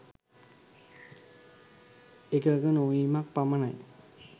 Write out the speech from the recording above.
එකඟ නොවීමක් පමණයි.